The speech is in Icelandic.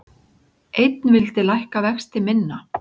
Einn vildi lækka vexti minna